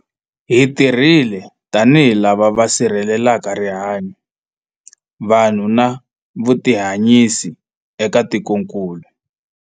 Hi tirhile tanihi lava va sirhelelaka rihanyu, vanhu na vutihanyisi eka tikokulu.